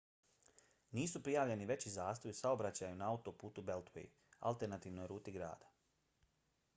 nisu prijavljeni veći zastoji u saobraćaju na autoputu beltway alternativnoj ruti grada